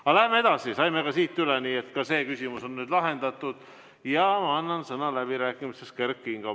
Aga läheme edasi, saime ka siit üle, nii et ka see küsimus on nüüd lahendatud ja ma annan sõna läbirääkimisteks Kert Kingole.